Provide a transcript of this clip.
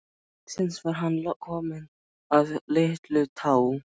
Loksins var hann kominn að Litlutá.